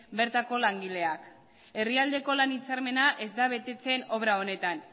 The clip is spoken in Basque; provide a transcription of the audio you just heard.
bertako langileak herrialdeko lan hitzarmena ez da betetzen obra honetan